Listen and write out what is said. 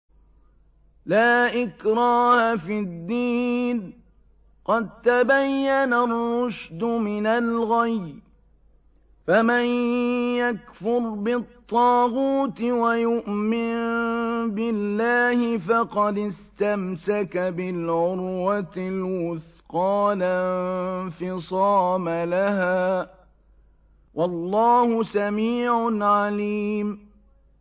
لَا إِكْرَاهَ فِي الدِّينِ ۖ قَد تَّبَيَّنَ الرُّشْدُ مِنَ الْغَيِّ ۚ فَمَن يَكْفُرْ بِالطَّاغُوتِ وَيُؤْمِن بِاللَّهِ فَقَدِ اسْتَمْسَكَ بِالْعُرْوَةِ الْوُثْقَىٰ لَا انفِصَامَ لَهَا ۗ وَاللَّهُ سَمِيعٌ عَلِيمٌ